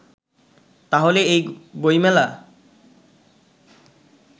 তাহলে এই বইমেলা